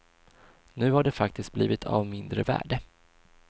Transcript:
Nu har det faktiskt blivit av mindre värde.